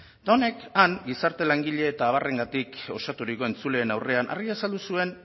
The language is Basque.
eta honek han gizarte langile eta abarrengatik osaturiko entzuleen aurrean argi azaldu zuen